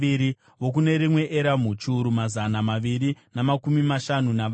vokune rimwe Eramu, chiuru mazana maviri namakumi mashanu navana;